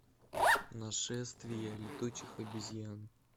нашествие летучих обезьян